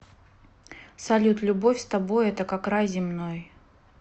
салют любовь с тобой это как рай земной